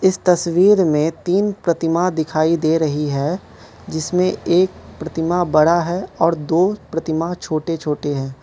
इस तस्वीर में तीन प्रतिमा दिखाइ दे रही है जिसमें एक प्रतिमा बड़ा है और दो प्रतिमा छोटे छोटे हैं।